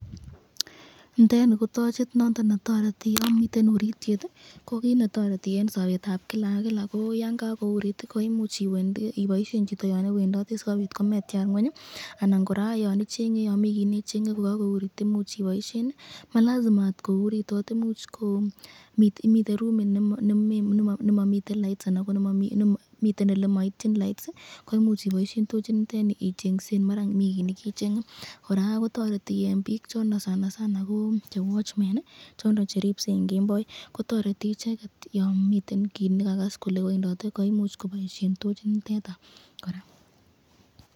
Niteni ko tochit noton netoreti yon miten urityet, Yan kakourit koimuch iboisyen chito Yan iwendoti sikobit kometyar ngwenyi ,anan kora nyon mi kiy nechenge koimuch iboisyen, ma lazima kouritot imuch ko miten rumit ne maityin laboyet koimuch iboisyen tochit niteni ichengsen, toreti eng ribikab kemboi kotoreti icheket eng lilset.